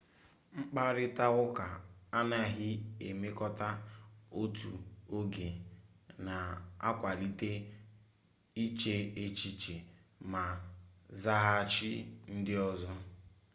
mkparịtaụka anaghị emekọta otu oge na-akwalite iche echiche ma zaghachi ndị ọzọ